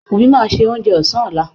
Wùmí máa se oúnjẹ òsán lọ́lá